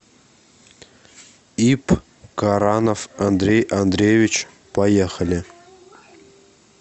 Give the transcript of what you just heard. ип каранов андрей андреевич поехали